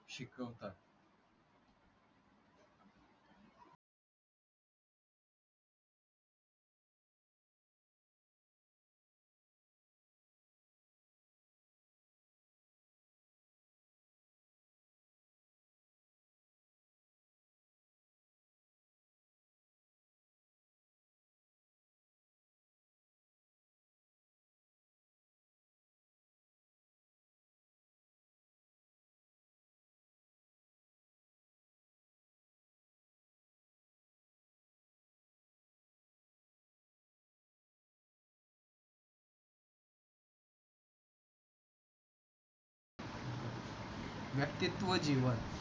व्यक्तित्व जीवन